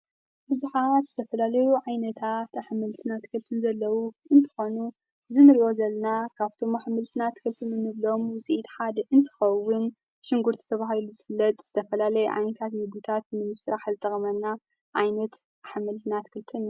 ብዙኃ ትተፈላለዩ ዓይነታ ተሓመልትና ት ክልትን ዘለዉ እንትኮኑ፤ ዝንርእወዘልና ካብቶም ኅምልትናት ክልትንንብሎም ውፂኢድ ሓድ እንትኸውን ሽንጕርት ዝተብሃሉ ዝፍለጥ ዝተፈላለይ ኣይንካት ይጉታት ንምሥራሕኣዝጠቕመና ኣይነት ኣሓመልትናት አትክልትን እዩ።